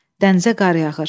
Dənizə qar yağır.